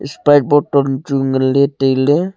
sprite botton chu nganley tailey.